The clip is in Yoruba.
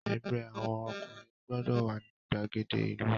Ẹgbẹ́ àwọn ọkùnrin gbọ́dọ̀ wà ní ìgbàgede ìlú!